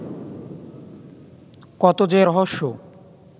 কত যে রহস্য